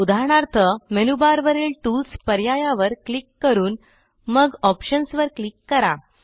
उदाहरणार्थ मेनूबारवरील टूल्स पर्यायावर क्लिक करून मगOptions वर क्लिक करा